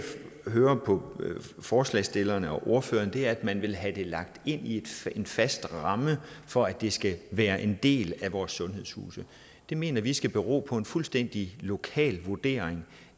hører på forslagsstillerne og ordførerne er at man vil have det lagt ind i en fast ramme for at det skal være en del af vores sundhedshuse det mener vi skal bero på en fuldstændig lokal vurdering